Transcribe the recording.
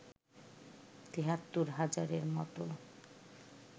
৭৩ হাজারের মতো